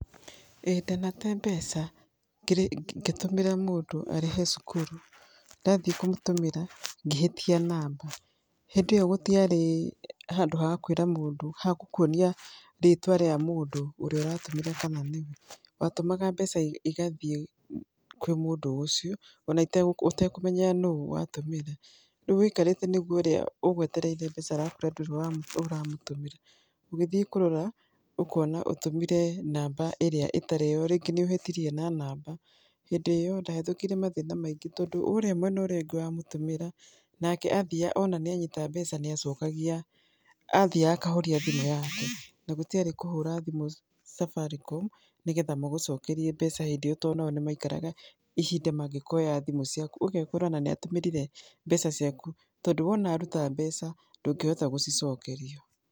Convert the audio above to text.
Ĩĩ ndanate mbeca ngĩtũmĩra mũndũ arĩhe cukuru ngĩhĩtia namba. Hĩndĩ ĩyo gũtiarĩ handũ ha kwĩra mũndũ hagũkuonia rĩtwa rĩa mũndũ ũria ũratũmĩra mbeca kana nĩwe. Watũmaga mbeca igathiĩ kwĩ mũndũ o ũcio ona ũtekũmenya nũ watũmĩra, rĩu ũikarĩte nĩguo ũrĩa ũgwetereire mbeca arakwĩra atĩ ndũrĩ ũramũtũmĩra. Ũgĩthiĩ kũrora ũkona ũtũmire namba ĩrĩa ĩtarĩ yo rĩngĩ nĩ ũhĩtirie na namba. Hĩndĩ ĩyo ndahĩtũkĩire mathĩna maingĩ tondũ ũrĩa mwena ũrĩa ũngĩ wamũtũmĩra nake athiaga, ona nĩanyita mbeca nĩ acokagia, athiaga akahoria thimũ yake. Na gũtiarĩ kũhũra thimũ Safaricom nĩgetha magũcokeria mbeca hĩndĩ ĩyo tondũ ona o nĩ maikaraga ihinda mangĩkoya thimũ ciaku. Ũgekora ona nĩ atũmĩrire mbeca ciaku tondũ wona aruta mbeca ndũngĩhota gũcicokerio.